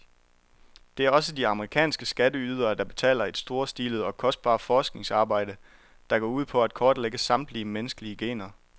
Det er også de amerikanske skatteydere, der betaler et storstilet og kostbart forskningsarbejde, der går ud på at kortlægge samtlige menneskelige gener.